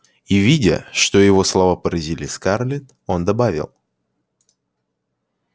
и видя что его слова поразили скарлетт он добавил